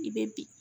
I bɛ bin